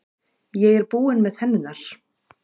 Ég er búinn með tennurnar.